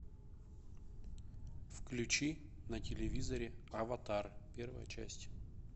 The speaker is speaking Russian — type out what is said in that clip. включи на телевизоре аватар первая часть